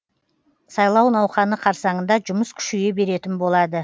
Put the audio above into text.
сайлау науқаны қарсаңында жұмыс күшейе беретін болады